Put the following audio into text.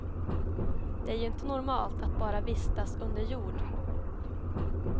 Det är ju inte normalt att bara vistas under jord.